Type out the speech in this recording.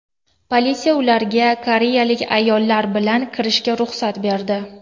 Politsiya ularga koreyalik ayollar bilan kirishiga ruxsat berdi.